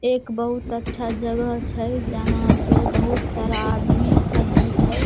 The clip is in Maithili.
एक बहुत अच्छा जगह छै जहाँ पर बहुत सारा आदमी सब भी छै ।